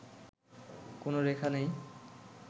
কোন রেখা নেই